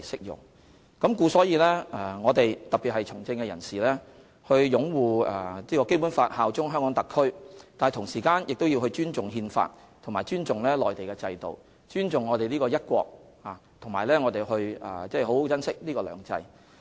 因此，特別是對從政人士而言，除擁護《基本法》及效忠香港特別行政區外，亦必須尊重《憲法》及內地制度，並尊重"一國"及珍惜"兩制"。